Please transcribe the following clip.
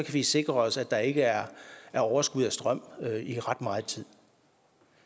vi sikre os at der ikke er overskud af strøm i ret meget tid